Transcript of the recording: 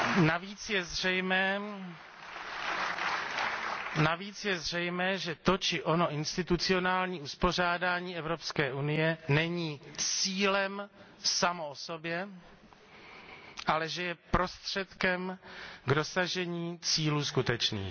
Navíc je zřejmé, že to či ono institucionální uspořádání Evropské unie není cílem samo o sobě, ale že je prostředkem k dosažení cílů skutečných.